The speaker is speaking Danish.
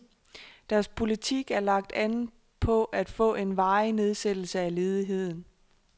Deres politik er lagt an på at få en varig nedsættelse af ledigheden.